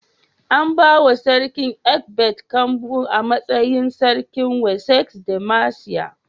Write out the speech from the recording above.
An bawa sarkin Ecbert kambu a matsayin sarkin Wessex da Mercia.